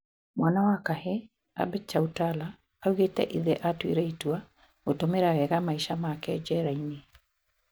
Mwana wa Kahii Abhay Chautala, aũgĩte ithe atũire itua "gũtũmĩra wega maisha make jerainĩ"